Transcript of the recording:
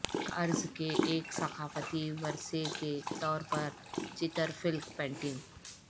کرہ ارض کے ایک ثقافتی ورثے کے طور پر چترفلک پینٹنگ